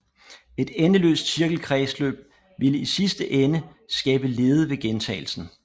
Et endeløst cirkelkredsløb ville i sidste ende skabe lede ved gentagelsen